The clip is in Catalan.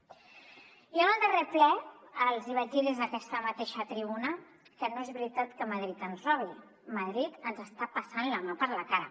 jo en el darrer ple els vaig dir des d’aquesta mateixa tribuna que no és veritat que madrid ens robi madrid ens està passant la mà per la cara